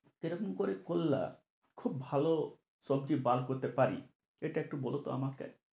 কি রকম করে করলা খুব ভালো সবজি বার করতে পারি এটা একটু বলো তো আমাকে?